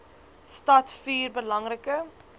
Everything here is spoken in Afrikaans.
stad vier belangrike